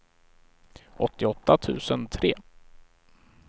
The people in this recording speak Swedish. åttioåtta tusen tre